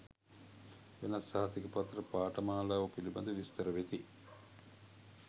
වෙනත් සහතික පත්‍ර පාඨමාලාවෝ පිළිබඳව විස්තර වෙති